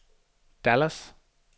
Dallas